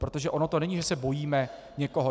Protože ono to není, že se bojíme někoho.